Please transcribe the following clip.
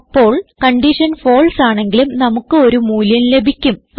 അപ്പോൾ condition false ആണെങ്കിലും നമുക്ക് ഒരു മൂല്യം ലഭിക്കും